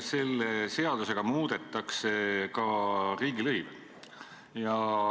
Selle seadusega muudetakse ka riigilõive.